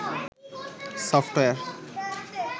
software